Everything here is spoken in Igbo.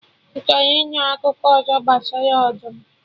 Ị chọrọ ịnụ akụkọ ọzọ gbasara ọdụm?